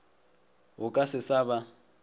go ka se sa ba